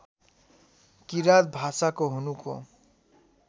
किराँत भाषाको हुनुको